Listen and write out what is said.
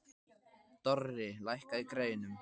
Dorri, lækkaðu í græjunum.